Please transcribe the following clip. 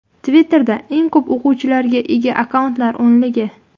Twitter’da eng ko‘p o‘quvchilarga ega akkauntlar o‘nligi.